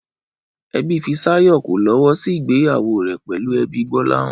Ẹbí Fisáyọ̀ kò lọ́wọ́ sí ìgbéyàwó rẹ̀ pẹ̀lú ẹbí Gbọ́láhàn